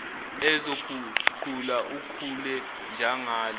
uzoguquka ukhule njangalo